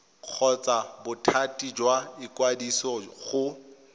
kgotsa bothati jwa ikwadiso go